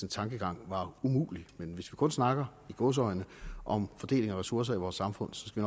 tankegang var umulig men hvis vi kun snakker i gåseøjne om fordeling af ressourcer i vores samfund skal